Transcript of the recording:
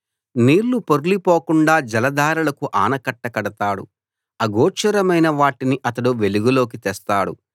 నీళ్లు పొర్లి పోకుండా జలధారలకు ఆనకట్ట కడతాడు అగోచరమైన వాటిని అతడు వెలుగులోకి తెస్తాడు